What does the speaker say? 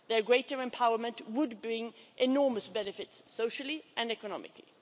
Their greater empowerment would bring enormous benefits socially and economically.